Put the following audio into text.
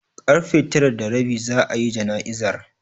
Karfe tara da rabi za'a yi jana'izar.